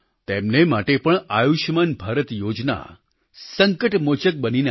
તેમને માટે પણ આયુષ્યમાન ભારત યોજના સંકટમોચક બનીને આવી